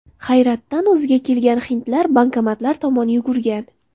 Hayratdan o‘ziga kelgan hindlar bankomatlar tomon yugurgan.